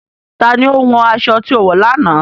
Tani o hún aṣọ̀ tí o wọ lọ́nà?